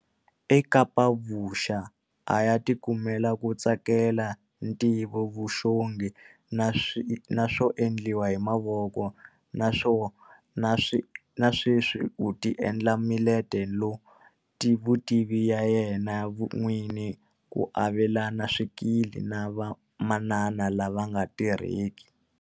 eKapa-Vuxa a ya tikumela ku tsakela ntivovuxongi na swo endliwa hi mavoko, naswo- na sweswi u tiendlela miletelovutivi ya yena n'wini ku avelana swikili na vamanana lava nga tirheki.